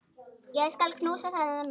Ég skal knúsa þennan mann!